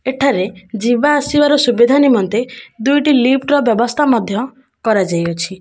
ଏଠାରେ ଯିବା ଆସିବାର ସୁବିଧା ନିମନ୍ତେ ଦୁଇଟି ଲିଫ୍ଟ ର ବ୍ୟବସ୍ଥା ମଧ୍ୟ କରାଯାଇଅଛି।